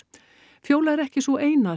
fjóla er ekki sú eina sem